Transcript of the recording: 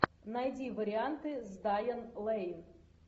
найди варианты с дайан лэйн